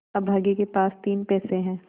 अभागे के पास तीन पैसे है